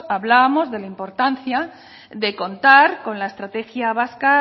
hablábamos de la importancia de contar con la estrategia vasca